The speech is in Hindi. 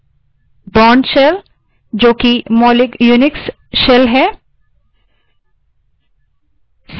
वो इसलिए क्योंकि यह एक लोकप्रिय shell है और लगभग सभी unix के लिए वहनीय यानि portable है